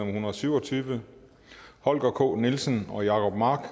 en hundrede og syv og tyve holger k nielsen og jacob mark